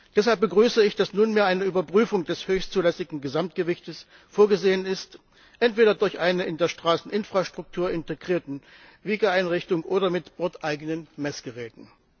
Deshalb begrüße ich, dass nunmehr eine Überprüfung des höchstzulässigen Gesamtgewichts vorgesehen ist, entweder durch eine in der Straßeninfrastruktur integrierte Wiegeeinrichtung oder mit bordeigenen Messgeräten.